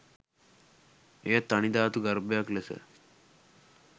එය තනි ධාතු ගර්භයක් ලෙස